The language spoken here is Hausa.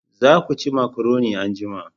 Za ku ci makaroni anjima